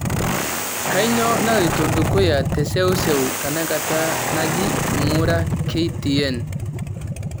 kainyio naloito dukuya teseuseu tenakata nji ng'ura k.t.n